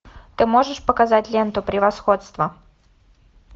ты можешь показать ленту превосходство